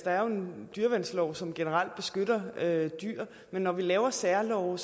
er en dyreværnslov som generelt beskytter dyr og når man laver særlove